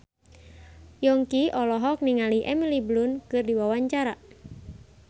Yongki olohok ningali Emily Blunt keur diwawancara